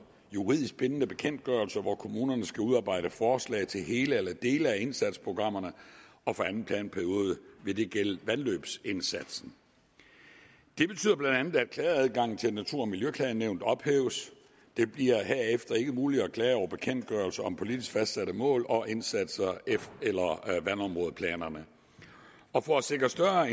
juridisk bindende bekendtgørelser og kommunerne skal udarbejde forslag til hele eller dele af indsatsprogrammerne og for anden planperiode vil det gælde vandløbsindsatsen det betyder bla at klageadgangen til natur og miljøklagenævnet ophæves det bliver herefter ikke muligt at klage over bekendtgørelser om politisk fastsatte mål og indsatser eller vandområdeplanerne og for at sikre større